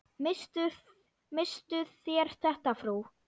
Misstuð þér þetta, frú!